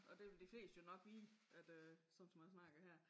Og det vil de fleste jo nok vide at øh sådan som man snakker her